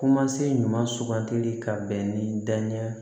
Kumasen ɲuman sugantili ka bɛn ni danaya ye